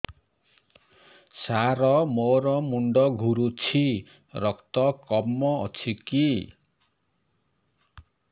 ସାର ମୋର ମୁଣ୍ଡ ଘୁରୁଛି ରକ୍ତ କମ ଅଛି କି